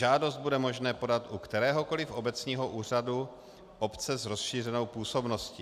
Žádost bude možné podat u kteréhokoliv obecního úřadu obce s rozšířenou působností.